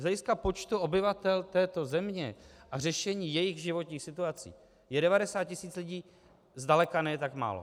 Z hlediska počtu obyvatel této země a řešení jejich životních situací je 90 tisíc lidí zdaleka ne tak málo.